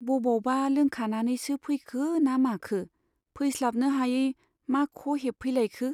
बबावबा लोंखानानैसो फैखो ना माखो , फैस्लाबनो हायै मा ख' हेबफै लायखो ?